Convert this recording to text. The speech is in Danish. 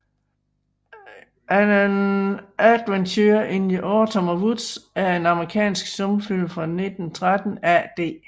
An Adventure in the Autumn Woods er en amerikansk stumfilm fra 1913 af D